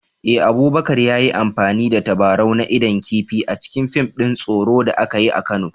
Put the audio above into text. Eh, Abubakar ya yi amfani da tabarau na idon kifi a cikin fim din tsoro da aka yi a Kano